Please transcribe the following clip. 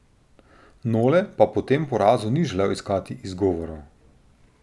Nole pa po tem porazu ni želel iskati izgovorov.